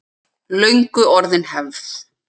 Löngu orðin hefð.